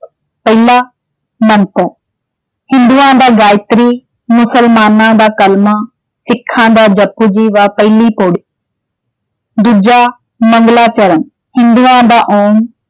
ਪਹਿਲਾ ਮੰਤਰ। ਹਿੰਦੂਆਂ ਦਾ ਗਾਇਤਰੀ, ਮੁਸਲਮਾਨਾਂ ਦਾ ਕਲਮਾ, ਸਿੱਖਾਂ ਦਾ ਜਪੁ ਜੀ ਪਹਿਲੀ ਪਉੜੀ। ਦੂਜਾ ਮੰਗਲਾਚਰਨ ਹਿੰਦੂਆਂ ਦਾ ਓਂਮ,